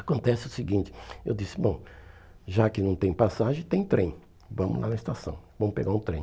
Acontece o seguinte, eu disse, bom, já que não tem passagem, tem trem, vamos lá na estação, vamos pegar um trem.